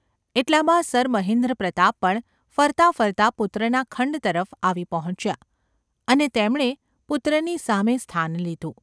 એટલામાં સર મહેન્દ્રપ્રતાપ પણ ફરતા ફરતા પુત્રના ખંડ તરફ આવી પહોંચ્યા અને તેમણે પુત્રની સામે સ્થાન લીધું.